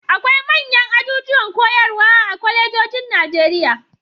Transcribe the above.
Akwai manyan ajujuwan koyarwa a kwalejojin Najeriya.